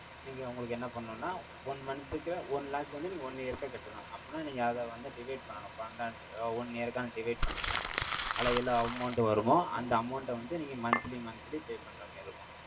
நீங்க, உங்களுக்கு என்ன பண்ணணும்ன்னா, one month க்கு, one lakh வந்து, நீங்க one year க்கா கட்டணும். அப்படின்னா, நீங்க, அதை வந்து, divide பண்ணணும். பன்னண்டால அஹ் One year க்கான, divide பண்ணீங்கன்னா, அதுல எல்லா amount வருமோ, அந்த amount அ வந்து, நீங்க, monthly monthly pay பண்ற மாரி இருக்கும்